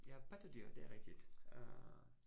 Ja pattedyr, det er rigtigt øh